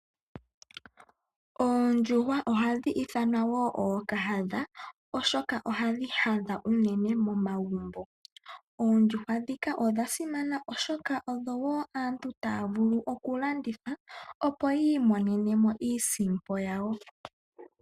Oondjuhwa ohadhi ithanwa wo ookahadha oshoka ohadhi hadha unene momagumbo. Oondjuhwa dhika odhasimana oshoka odhowo aantu taya vulu okulanditha opo yi imonenemo iisimpo yawo.